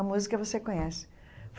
A música, você conhece.